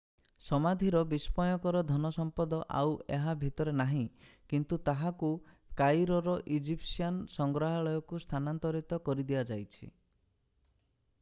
ସମାଧିର ବିସ୍ମୟକର ଧନ ସମ୍ପଦ ଆଉ ଏହା ଭିତରେ ନାହିଁ କିନ୍ତୁ ତାହାକୁ କାଇରୋର ଇଜିପ୍ସିଆନ୍ ସଂଗ୍ରହାଳୟକୁ ସ୍ଥାନାନ୍ତରିତ କରି ଦିଆଯାଇଛି